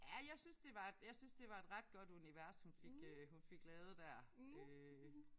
Ja jeg synes det var jeg synes det var et ret godt univers hun fik øh hun fik lavet der øh